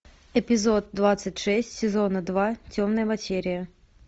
эпизод двадцать шесть сезона два темная материя